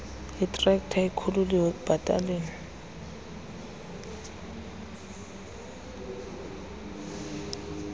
itrekta ikhululiwe ekubhataleni